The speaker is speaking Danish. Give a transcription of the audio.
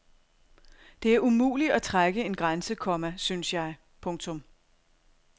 Det er umuligt at trække en grænse, komma synes jeg. punktum